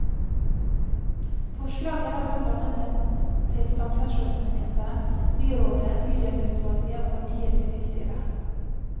Forslaget er blant annet sendt til samferdselsministeren, byrådet, bydelsutvalget og partiene i bystyret.